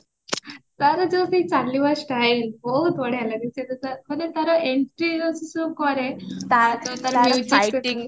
ତାର ଯୋଉ ସେଇ ଚାଲିବ style ବହୁତ ବଢିଆ ଲାଗେ ସେଟା ତାର ମାନେ ତାର entry ସେ ଯୋଉ କରେ